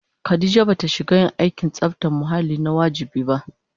Khadija ba ta shiga yin aikin tsabtace muhalli na wajibi ba